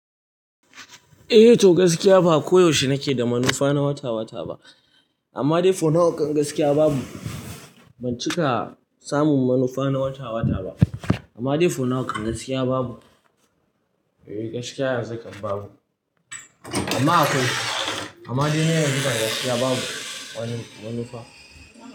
Eh to gaskiya ba koyaushe nake da manufa na wata wata ba, amma dai fo nau'ukan gaskiya babu. Ban cika samun manufa na wata wata ba, amma dai fo nau'ukan gaskiya babu. Eh gaskiya yanzu kan babu. Amma akwai, amma dai na yanzu gaskiya babu. Wani, manufa.